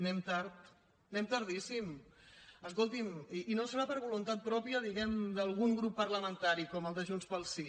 anem tard anem tardíssim escolti’m i no serà per voluntat pròpia diguem ne d’algun grup parlamentari com el de junts pel sí